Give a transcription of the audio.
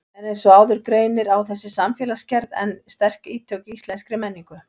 En eins og áður greinir á þessi samfélagsgerð enn sterk ítök í íslenskri menningu.